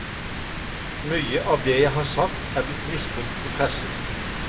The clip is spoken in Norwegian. Mye av det jeg har sagt er blitt misbrukt i pressen.